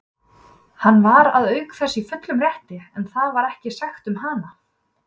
Hann var auk þess í fullum rétti, en það varð ekki sagt um hana.